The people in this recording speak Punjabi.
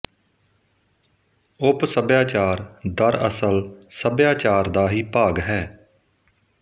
ਉਪ ਸੱਭਿਆਚਾਰ ਦਰਅਸਲ ਸੱਭਿਆਚਾਰ ਦਾ ਹੀ ਭਾਗ ਹੈ